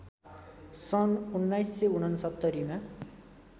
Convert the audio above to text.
सन् १९६९ मा